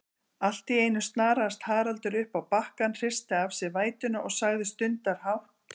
Alltíeinu snaraðist Haraldur uppá bakkann, hristi af sér vætuna og sagði stundarhátt